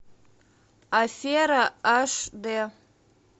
афера аш дэ